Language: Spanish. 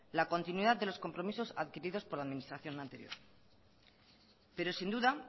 la continuidad de los compromisos adquiridos por la administración anterior pero sin duda